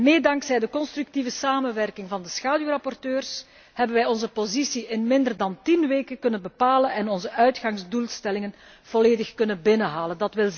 Mede dankzij de constructieve samenwerking met de schaduwrapporteurs hebben wij onze positie in minder dan 10 weken kunnen bepalen en onze uitgangsdoelstellingen volledig kunnen halen.